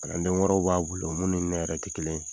Kalanden wɛrɛrw b'a bolo olu ni ne yɛrɛ ti kelen ye.